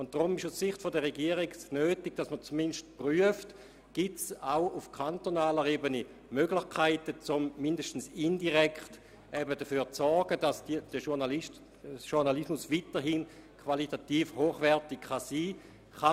Deshalb ist es aus Sicht der Regierung notwendig, dass man prüft, ob es auch auf kantonaler Ebene Möglichkeiten gibt, um zumindest indirekt dafür zu sorgen, dass der Journalismus weiterhin qualitativ hochwertig sein kann.